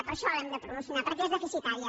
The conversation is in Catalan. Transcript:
per això l’hem de promocionar perquè són deficitaris